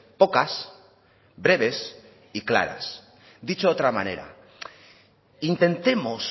pocas breves y claras dicho de otra manera intentemos